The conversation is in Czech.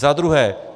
Za druhé.